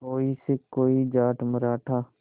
कोई सिख कोई जाट मराठा